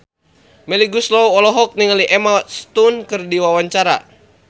Melly Goeslaw olohok ningali Emma Stone keur diwawancara